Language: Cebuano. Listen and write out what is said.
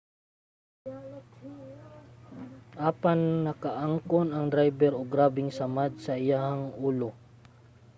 apan nakaangkon ang drayber og grabeng samad sa iyahang ulo